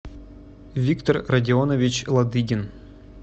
виктор родионович ладыгин